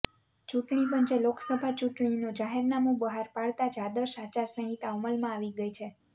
ચુંટણી પંચે લોકસભા ચૂંટણીનું જાહેરનામું બહાર પાડતાં જ આદર્શ આચારસંહિતા અમલમાં આવી ગઈ છે